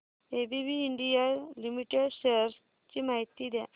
ABB India limited shares ची माहिती द्या